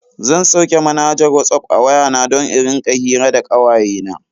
Zan sauke manhajar Whatsapp a waya na don in rika hira da kawayena.